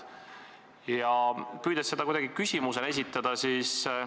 Püüan selle nüüd kuidagi küsimuseks formuleerida.